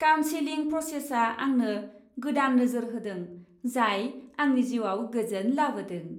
Counselling प्रसेसआ आंनो गोदान नोजोर होदों जाय आंनि जिउआव गोजोन लाबोदों।